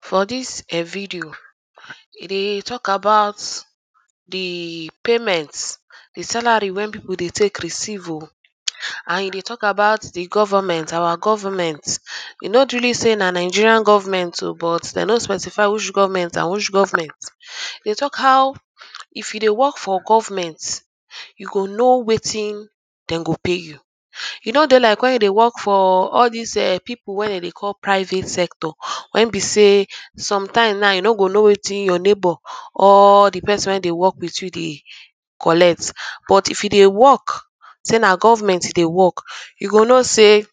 for this um video e dey talk about the payment the salary wen people dey take receive oh and e dey talk about the goverment, our goverment e no really say na Nigerian Government oh but dem no specify which goverment and which goverment dey talk how if you dey work for goverment you go know wetin dem go pay you. E no dey like when you dey work for all this ehm people wey dem dey call private sector wen be say some times now you no go know wetin your neighbour or di person wey dey work wit you dey collect but if you dey work say na gofment you dey work you go know sey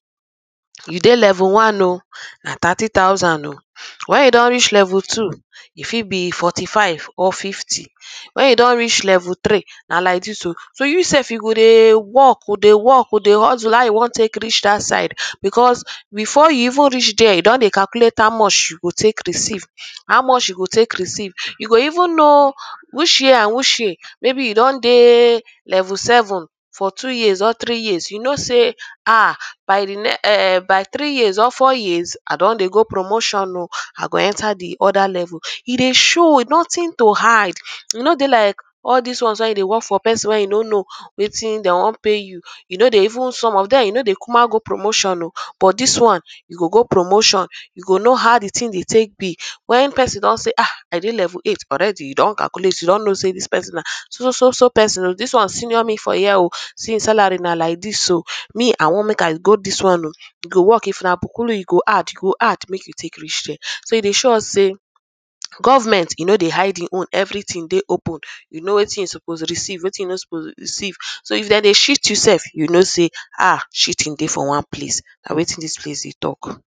you dey level 1 oh na tati tausand o. Wen you don reach level 2 e fit be 45 or 50 when you don reach level 3 na like this o so you sef, e go dey work oh dey work oh, dey hustle how you want take reach that side because before you even reach there, you don calculate how much you go take receive how much you go take receive. you go even know which year and which year maybe you don dey level seven for two years or three years you no sey ah by the next eh, by three years or four years i don dey go promotion i go enter the other level, e dey show oh nothing to hide e no dey like all this ones when you dey work for person wey you no know wetin dem want pay you, you no dey even some of them you no dey kuma go promotion oo but this one, you go go promotion you go know the how the thing dey take be. when person talk seh ah, i dey level 8 alreadt you don calculate you don seen this person na so so so person oh, this one senior me for years oh say him salary na like this oh. me i want make i go this one oh e go work. if na bokolo, e go add make you take reach there. so i dey show us sey goverment e no dey hide him own everything dey open you know wetin you suppose receive wetin you no suppose receive so if dem dey cheat you sef you know sey ah cheating dey for wan place na wetin this place dey talk